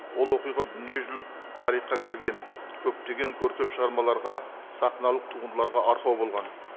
ол оқиға дүниежүзілік тарихқа кірген көптеген көркем шығармаларға сахналық туындыларға арқау болған